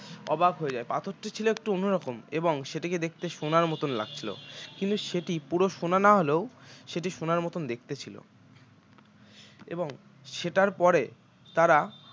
অবাক হয়ে যায় পাথরটি ছিল একটু অন্যরকম এবং সেটিকে দেখতে সোনার মতো লাগছিল কিন্তু সেটি পুরো সোনা না হলেও সেটি সোনার মতো দেখতে ছিল এবং সেটার পরে তাঁরা